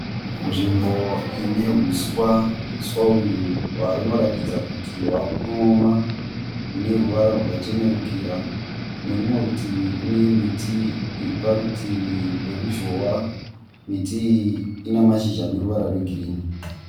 Nzvimbo ine huswa. Huswa uyu unoratidza kuti hwakunooma une ruvara rwakachenerukira. Kune rumwe rutivi kune miti iri parutivi peruzhowa. Miti iyi ine ruvara rweghirini.